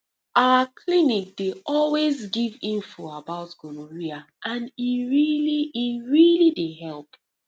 our clinic dey always give info about gonorrhea and e really e really dey help